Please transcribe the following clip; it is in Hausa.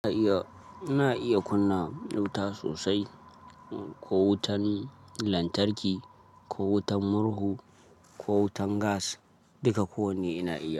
Ina iya, ina iya kunna wuta sosai, ko wutan lantarki, ko wutan murhu, ko wutan gas duka kowanne ina iya.